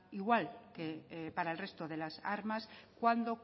igual que para el resto de las armas cuándo